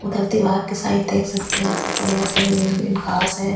उधर दीवार के साइड देख सकते हैं बढ़िया से ग्रीन ग्रीन घास है।